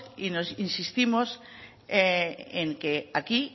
e insistimos en que aquí